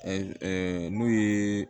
n'u ye